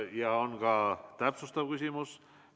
Teile on ka täpsustav küsimus.